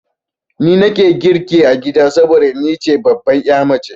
Ni nake girki a gida saboda ni ce babbar ya mace.